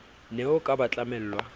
ne o ka ba tlamella